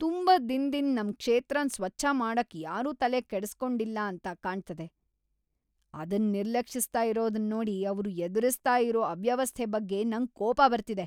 ತುಂಬಾ ದಿನದಿಂದ್ ನಮ್ ಕ್ಷೇತ್ರನ್ ಸ್ವಚ್ಛ ಮಾಡಕ್ ಯಾರೂ ತಲೆ ಕೆಡ್ಸಿ ಕೊಂಡಿಲ್ಲ ಅಂತ ಕಾಣ್ತದೆ ಅದನ್ ನಿರ್ಲಕ್ಷಿಸ್ತ ಇರೋದನ್ ನೋಡಿ ಅವ್ರು ಎದುರಿಸ್ತಾ ಇರೋ ಅವ್ಯವಸ್ಥೆ ಬಗ್ಗೆ ನಂಗ್ ಕೋಪ ಬರ್ತಿದೆ. .